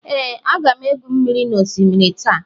Ee, aga m egwu mmiri n'osimiri taa.